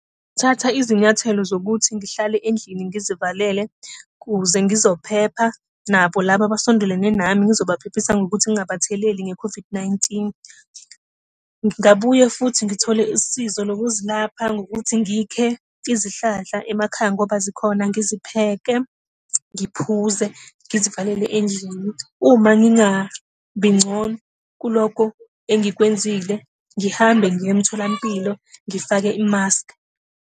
Thatha izinyathelo zokuthi ngihlale endlini ngizivalele, ukuze ngizophepha, nabo laba abasondelene nami ngizobaphephisa ngokuthi ngingabatheleli nge-COVID-19. Ngingabuye futhi ngithole usizo lokuzilapha ngokuthi ngikhe izihlahla emakhaya ngoba zikhona, ngizipheke, ngiphuze, ngizivalele endlini. Uma ngingabi ngcono kulokho engikwenzile, ngihambe ngiye emtholampilo ngifake imaskhi.